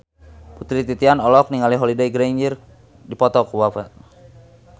Putri Titian olohok ningali Holliday Grainger keur diwawancara